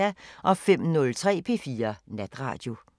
05:03: P4 Natradio